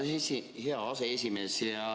Tänan, hea aseesimees!